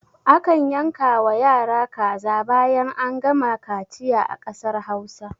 A kan yanka wa yara kaza bayan an gama kaciya a ƙasar hausa